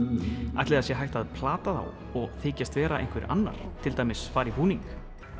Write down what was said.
ætli sé hægt að plata þá og þykjast vera einhver annar til dæmis fara í búning